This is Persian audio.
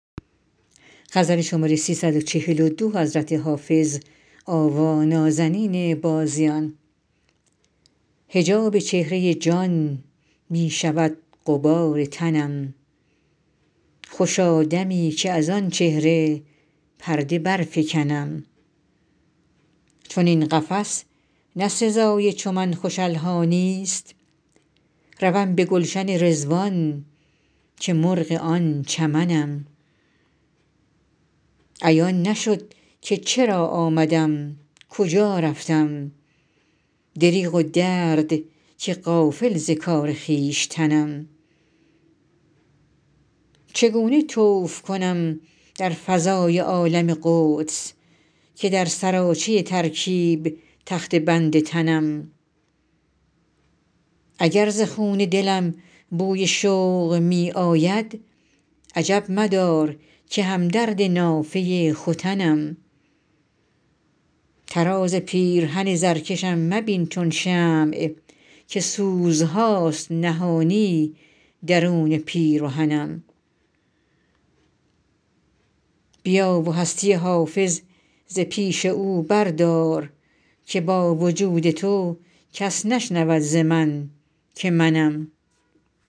حجاب چهره جان می شود غبار تنم خوشا دمی که از آن چهره پرده برفکنم چنین قفس نه سزای چو من خوش الحانی ست روم به گلشن رضوان که مرغ آن چمنم عیان نشد که چرا آمدم کجا رفتم دریغ و درد که غافل ز کار خویشتنم چگونه طوف کنم در فضای عالم قدس که در سراچه ترکیب تخته بند تنم اگر ز خون دلم بوی شوق می آید عجب مدار که هم درد نافه ختنم طراز پیرهن زرکشم مبین چون شمع که سوزهاست نهانی درون پیرهنم بیا و هستی حافظ ز پیش او بردار که با وجود تو کس نشنود ز من که منم